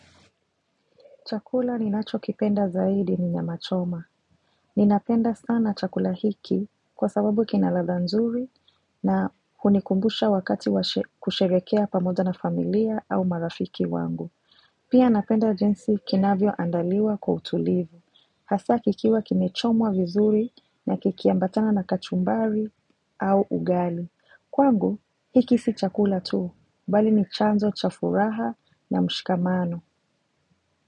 Chakula ninachokipenda zaidi ni nyama choma. Ninapenda sana chakula hiki kwa sababu kina ladha nzuri na hunikumbusha wakati wa kusherehekea pamoja na familia au marafiki wangu. Pia napenda jinsi kinavyoandaliwa kwa utulivu. Hasa kikiwa kimechomwa vizuri na kikiambatana na kachumbari au ugali. Kwangu hiki si chakula tu, bali ni chanzo cha furaha na mshikamano.